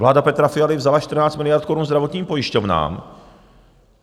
Vláda Petra Fialy vzala 14 miliard korun zdravotním pojišťovnám!